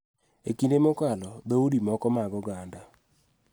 E kinde mokalo, dhoudi moko mag oganda�